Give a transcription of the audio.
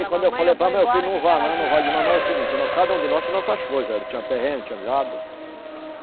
Aí quando eu falei, não vá não, não vá digo mamãe, é o seguinte, cada um de nós tinha nossas coisas, tinha terreno, tinha gado.